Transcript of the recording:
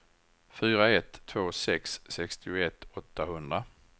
fyra ett två sex sextioett åttahundra